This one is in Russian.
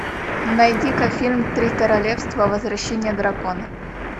найди ка фильм три королевства возвращение дракона